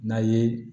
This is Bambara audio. N'a ye